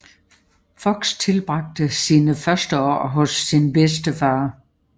Fox tilbragte sine første år hos sin bedstefar